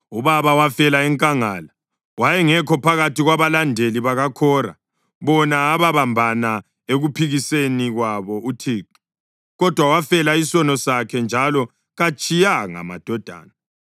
“Ubaba wafela enkangala. Wayengekho phakathi kwabalandeli bakaKhora, bona ababambana ekuphikiseni kwabo uThixo, kodwa wafela isono sakhe njalo katshiyanga madodana.